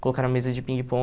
Colocaram a mesa de